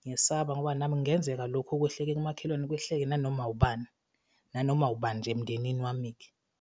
ngiyesaba ngoba nami kungenzeka lokhu okwehleke kumakhelwane kwehleke nanoma ubani, nanoma ubani nje emndenini wami-ke.